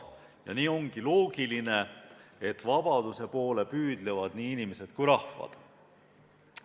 Ja nii ongi loogiline, et vabaduse poole püüdlevad nii inimesed kui rahvad.